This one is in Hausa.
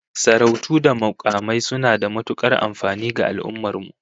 Sarautu da mukamai suna da matukar amfani ga al'ummar mu